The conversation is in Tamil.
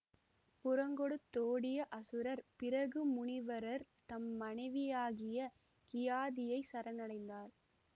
புறங்கொடுத்தோடிய அசுரர் பிருகு முனிவரர் தம் மனைவியாகிய கியாதியைச் சரணடைந்தனர்